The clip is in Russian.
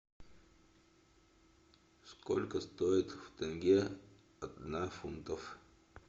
сколько стоит в тенге одна фунтов